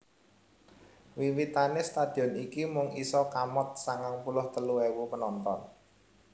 Wiwitane stadion iki mung isa kamot sangang puluh telu ewu penonton